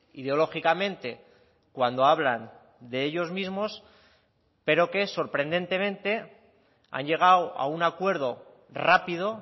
ideológicamente cuando hablan de ellos mismos pero que sorprendentemente han llegado a un acuerdo rápido